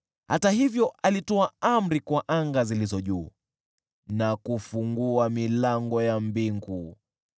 Hata hivyo alitoa amri kwa anga zilizo juu na kufungua milango ya mbingu,